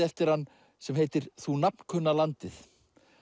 eftir hann sem heitir þú landið